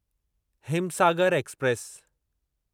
Himsagar express